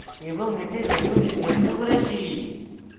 এবং এতে value নির্ধারিত করেছি